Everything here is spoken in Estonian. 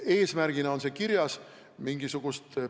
Eesmärgina on see kirjas.